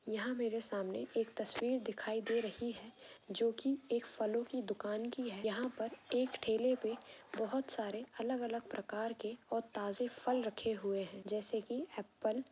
यहां मेरे सामने एक तस्वीर दिखाई दे रही है जो की एक फलो की दुकान की है यहां पर एक ठेले पे बहुत सारे अलग अलग प्रकार के और ताजे फल रखे हुए हैं जैसे की ऐपल ।